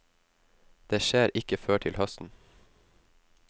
Det skjer ikke før til høsten.